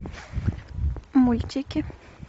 мультики